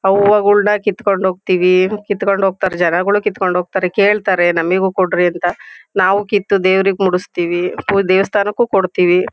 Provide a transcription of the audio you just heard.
ಹೂವಗುಳ್ನ ಕಿತ್ಕೊಂಡ್ ಹೋಗತೀವಿ ಕಿತ್ಕೊಂಡ್ ಹೋಗ್ತಾರೆ ಜನಗಳು ಕಿತ್ಕೊಂಡ್ ಹೋಗ್ತಾರೆ ಕೇಳ್ತಾರೆ ನಾಮಿಗೂ ಕೊಡ್ರಿ ಅಂತ ನಾವು ಕಿತ್ತು ದೇವ್ರಿಗ್ ಮುಡುಸ್ತಿವಿ ಫು ದೇವಸ್ಥಾನಕ್ಕೂ ಕೊಡ್ತಿವಿ.